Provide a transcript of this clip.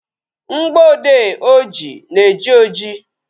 Mgboode oji na-eji oji